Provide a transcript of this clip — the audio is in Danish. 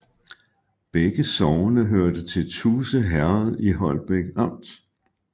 Begge sogne hørte til Tuse Herred i Holbæk Amt